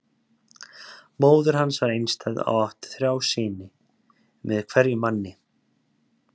Móðir hans var einstæð og átti þrjá syni, sinn með hverjum manni.